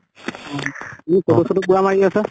বুলু photo চতʼ পুৰা মাৰি আছা?